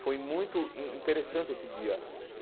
Foi muito in interessante esse dia.